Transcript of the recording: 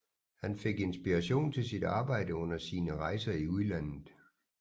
Han fik inspiration til sit arbejde under sine rejser i udlandet